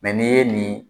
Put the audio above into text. n'i ye nin